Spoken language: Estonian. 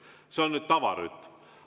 See on tavarütm.